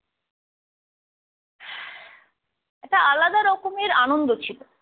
একটা আলাদা রকমের আনন্দ ছিল।